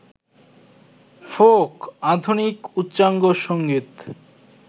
folk, আধুনিক, উচ্চাঙ্গসংগীত,